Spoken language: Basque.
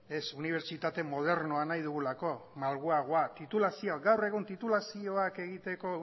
ez unibertsitatea modernoa nahi dugulako malguagoa gaur egun titulazioak egiteko